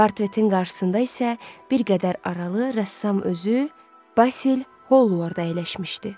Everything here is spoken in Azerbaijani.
Portretin qarşısında isə bir qədər aralı rəssam özü, Basil Holword əyləşmişdi.